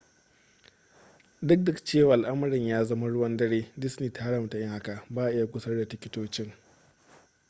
duk da cewa al'amarin ya zama ruwan dare disney ta haramta yin haka ba'a iya gusar da tikitocin